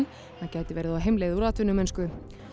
gæti verið á heimleið úr atvinnumennsku